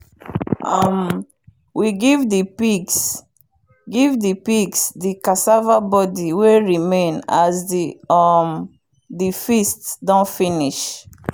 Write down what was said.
um we give the pigs give the pigs the cassava body way remain as the um the feast don finish.